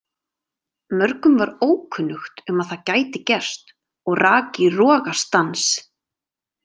Mörgum var ókunnugt um að það gæti gerst og rak í rogastans.